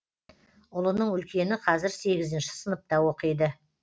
ұлының үлкені қазір сегізінші сыныпта оқиды